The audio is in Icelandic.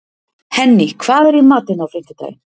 Henný, hvað er í matinn á fimmtudaginn?